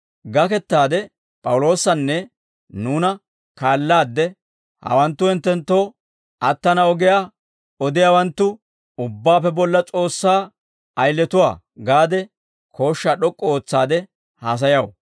Gakettaade P'awuloosanne nuuna kaalaadde, «Hawanttu hinttenttoo attana ogiyaa odiyaawanttu, Ubbaappe Bolla S'oossaa ayiletuwaa» gaade kooshshaa d'ok'k'u ootsaade haasayaw.